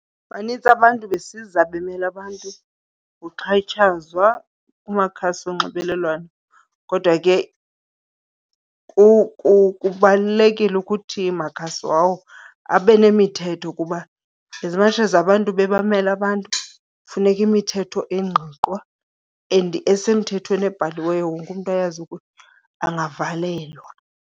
Banintsi abantu besiza bemela abantu kuxhatshazwa kumakhasi onxibelelwano. Kodwa ke kubalulekile ukuthi makhasi wawo abe nemithetho kuba as much as abantu bebamela abantu kufuneka imithetho engqiqwa and esemthethweni ebhaliweyo wonke umntu ayazi ukuba angavelelwa.